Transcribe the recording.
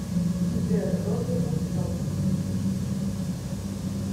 сбер робби вульфсон